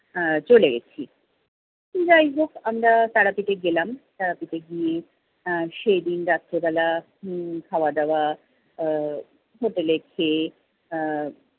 আহ চলে গেছি। যাই হোক আমরা তারাপীঠে গেলাম। তারাপীঠে গিয়ে আহ সেদিন রাত্রে বেলা উম খাওয়া দাওয়া আহ হোটেলে খেয়ে